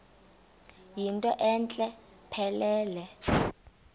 yinto entle mpelele